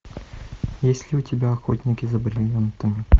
есть ли у тебя охотники за бриллиантами